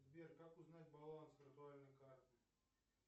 сбер как узнать баланс виртуальной карты